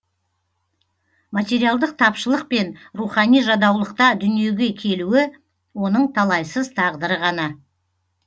материалдық тапшылық пен рухани жадаулықта дүниеге келуі оның талайсыз тағдыры ғана